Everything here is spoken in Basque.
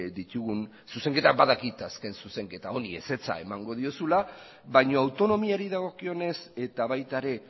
ditugun zuzenketak badakit azken zuzenketa honi ezetza emango diozula baina autonomiari dagokionez eta baita ere